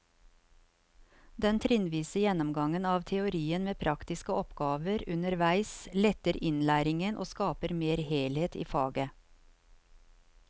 Den trinnvise gjennomgangen av teorien med praktiske oppgaver underveis letter innlæringen og skaper mer helhet i faget.